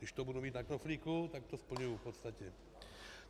Když to budu mít na knoflíku, tak to splňuji v podstatě.